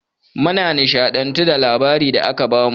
Mun nishaɗantu da labarai da aka bamu.